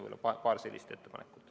Need on paar ettepanekut.